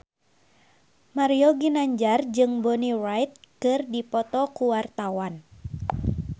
Mario Ginanjar jeung Bonnie Wright keur dipoto ku wartawan